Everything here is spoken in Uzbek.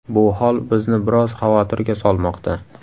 Bu hol bizni biroz xavotirga solmoqda.